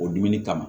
O dumuni kama